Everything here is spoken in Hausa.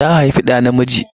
Ta haifi ɗa namiji.